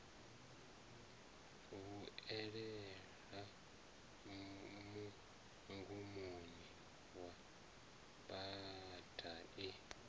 vhuelela mugumoni wa bada i